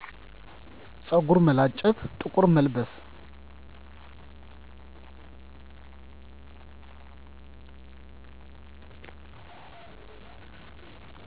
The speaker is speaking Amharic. ፀጉር መላጨት ጥቁር መልበስ